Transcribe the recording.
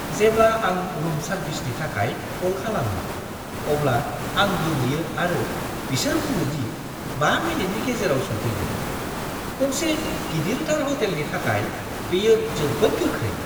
जेब्ला आं रुम सार्भिसनि थाखाय कल खालामो, अब्ला आं गोमोयो आरो बिसोर बुङो दि 5 मिनिटनि गेजेरावनो सौफैगोन। गंसे गिदिरथार ह'टेलनि थाखाय बेयो जोबोद गोख्रै!